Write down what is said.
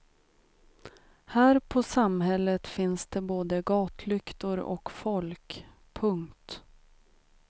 Här på samhället finns det både gatlyktor och folk. punkt